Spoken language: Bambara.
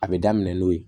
A bɛ daminɛ n'o ye